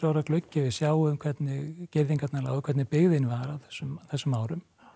gluggi við sjáum hvernig girðingarnar lágu hvernig byggðin var á þessum þessum árum